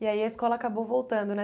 E aí a escola acabou voltando, né?